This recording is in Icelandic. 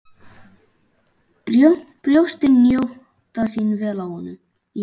Brjóstin njóta sín vel í honum.